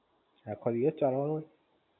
આખો દિવસ ચાલવાનું હોય?